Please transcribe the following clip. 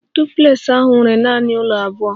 Duplex ahụ nwere nanị abụọ ụlọ